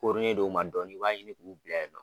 koorolen do u ma dɔɔni i b'a ye ni dugu gɛ